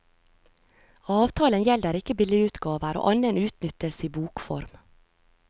Avtalen gjelder ikke billigutgaver og annen utnyttelse i bokform.